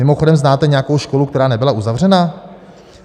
Mimochodem znáte nějakou školu, která nebyla uzavřena?